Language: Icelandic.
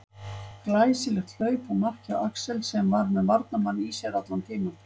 Glæsilegt hlaup og mark hjá Axel sem að var með varnarmann í sér allan tímann.